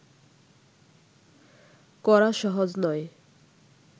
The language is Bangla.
করা সহজ নয়